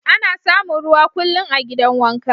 Ana samun ruwa kullum a'gidan wanka.